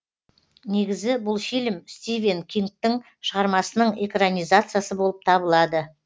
негізі бұл фильм стивен кингтың шығармасының экранизациясы болып табылады